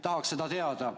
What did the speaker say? Tahaks seda teada.